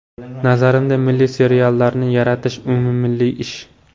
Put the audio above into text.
Nazarimda, milliy seriallarni yaratish umummilliy ish.